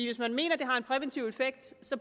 hvis man mener det har en præventiv effekt